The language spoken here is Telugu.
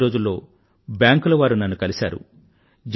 గత కొద్ది రోజుల క్రితం బ్యాంకుల వారు నన్ను కలిశారు